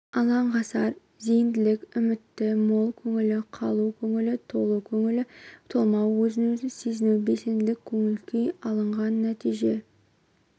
алаңғасар зейінділік үміті мол көңілі қалу көңілі толы көңілі толмау өзін сезінуі белсенділік көңіл-күй алынған нәтиже